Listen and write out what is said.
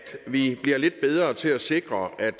vi bliver lidt bedre til at sikre at